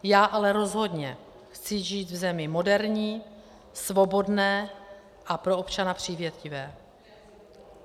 Já ale rozhodně chci žít v zemi moderní, svobodné a pro občana přívětivé.